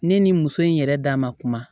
Ne ni muso in yɛrɛ da ma kuma